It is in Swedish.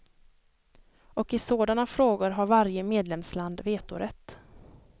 Och i sådana frågor har varje medlemsland vetorätt.